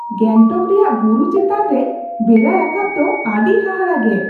ᱜᱮᱝᱴᱚᱠ ᱨᱮᱭᱟᱜ ᱵᱩᱨᱩ ᱪᱮᱛᱟᱱ ᱨᱮ ᱵᱮᱲᱟ ᱨᱟᱠᱟᱵ ᱫᱚ ᱟᱹᱰᱤ ᱦᱟᱦᱟᱲᱟᱜᱼᱜᱮ ᱾